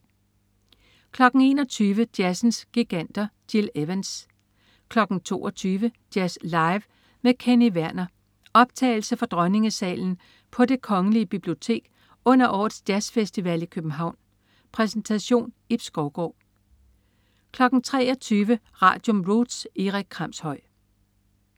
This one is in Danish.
21.00 Jazzens giganter. Gil Evans 22.00 Jazz live med Kenny Werner.Optagelse fra Dronningesalen på Det kgl. Bibliotek under årets jazzfestival i København. Præsentation: Ib Skovgaard 23.00 Radium. Roots. Erik Kramshøj